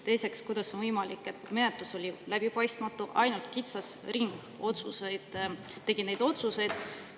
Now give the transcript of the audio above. Teiseks, kuidas on võimalik, et menetlus oli läbipaistmatu, ainult kitsas ring tegi neid otsuseid?